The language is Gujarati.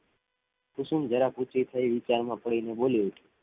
કુસુમ જરાક ઉંચી થઇ વિચાર માં પડી ને બોલી